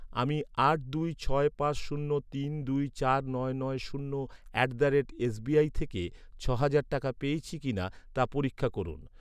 আমি আট দুই ছয় পাঁচ শূন্য তিন দুই চার নয় নয় শূন্য অ্যাট দ্য রেট এসবিআই থেকে ছ'হাজার টাকা পেয়েছি কিনা তা পরীক্ষা করুন।